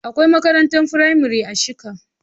Akwai makarantar firamare a shika.